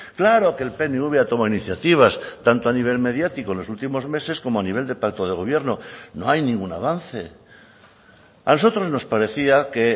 claro que el pnv ha tomado iniciativas tanto a nivel mediático en los últimos meses como a nivel de pacto de gobierno no hay ningún avance a nosotros nos parecía que